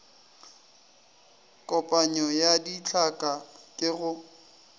kopanyo ya ditlhaka ke go